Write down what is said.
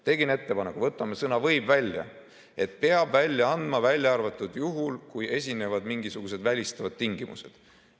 Tegin ettepaneku, et võtame sõna "võib" välja, st peab välja andma, välja arvatud juhul, kui esinevad mingisugused välistavad tingimused.